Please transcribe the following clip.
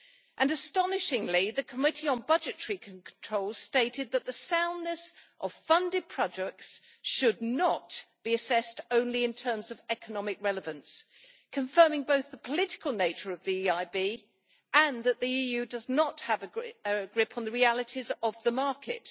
And, astonishingly, the Committee on Budgetary Control stated that the soundness of funded projects should not be assessed only in terms of economic relevance, confirming both the political nature of the EIB and that the EU does not have a grip on the realities of the market.